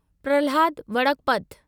Prahlad Vadakkapat